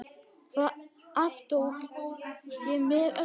Það aftók ég með öllu.